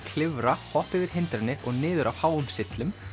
klifra hoppa yfir hindranir og niður af háum syllum